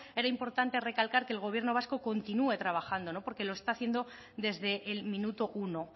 era importante recalcar que el gobierno vasco continua trabajando porque lo está haciendo desde el minuto uno